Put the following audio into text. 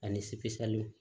Ani